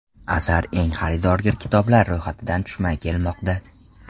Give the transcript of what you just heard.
Asar eng xaridorgir kitoblarning ro‘yxatidan tushmay kelmoqda.